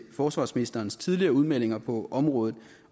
forsvarsministerens tidligere udmeldinger på området